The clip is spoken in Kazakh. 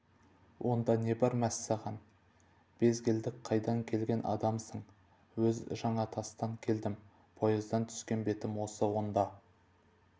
онда не бар мәссаған безгелдек қайдан келген адамсың өз жаңатастан келдім поездан түскен бетім осы онда